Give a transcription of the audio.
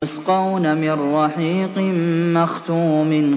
يُسْقَوْنَ مِن رَّحِيقٍ مَّخْتُومٍ